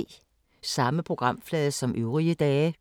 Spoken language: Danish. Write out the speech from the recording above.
Samme programflade som øvrige dage